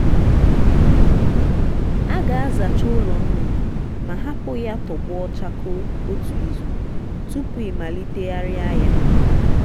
a ga-azacha ụlọ nnụnụ ma hapụ ya tọgbọ chakoo otu izu tupu ịmalitegharịa ya.